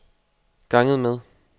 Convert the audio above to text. ganget med